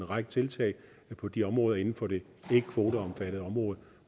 række tiltag på de områder inden for det ikkekvoteomfattede område